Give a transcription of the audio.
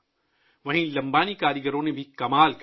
ساتھ ہی لمبانی کاریگروں نے بھی کمال کیا